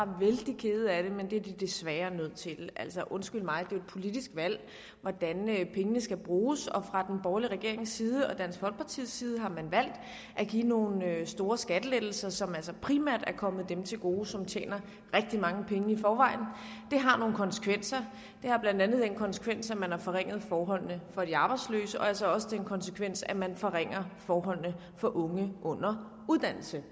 vældig ked af det men det er de desværre nødt til altså undskyld mig det er jo et politisk valg hvordan pengene skal bruges og fra den borgerlige regerings side og dansk folkepartis side har man valgt at give nogle store skattelettelser som altså primært er kommet dem til gode som tjener rigtig mange penge i forvejen det har nogle konsekvenser det har blandt andet den konsekvens at man har forringet forholdene for de arbejdsløse og altså også den konsekvens at man forringer forholdene for unge under uddannelse